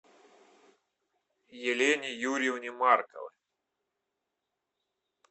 елене юрьевне марковой